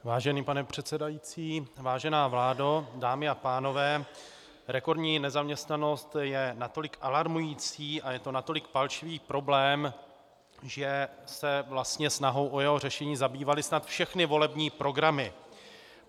Vážený pane předsedající, vážená vládo, dámy a pánové, rekordní nezaměstnanost je natolik alarmující a je to natolik palčivý problém, že se vlastně snahou o jeho řešení zabývaly snad všechny volební programy.